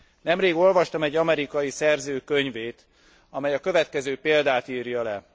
Nemrég olvastam egy amerikai szerző könyvét, amely a következő példát írja le.